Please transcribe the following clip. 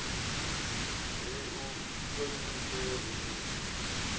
ri u ṱhonifhe ri u